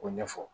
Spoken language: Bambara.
K'o ɲɛfɔ